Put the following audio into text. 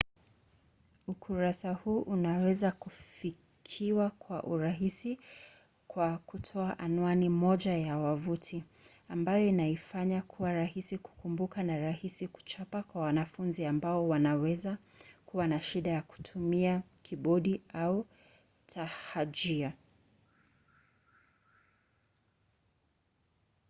ukurasa huu unaweza kufikiwa kwa urahisi kwa kutoa anwani moja tu ya wavuti ambayo inaifanya kuwa rahisi kukumbuka na rahisi kuchapa kwa wanafunzi ambao wanaweza kuwa na shida kutumia kibodi au na tahajia